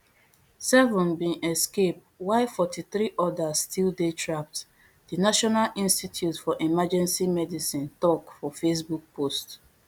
seven bin escape while forty-three odas still dey trapped di national institute for emergency medicine tok for facebook post